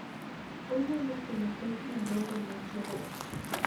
Onyalo kelo pek madongo ne joot,